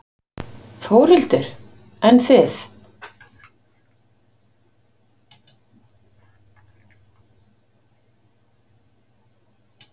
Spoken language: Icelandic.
Þórhildur: En þið?